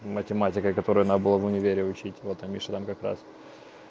математика которой она была в универе учить вот они что там как раз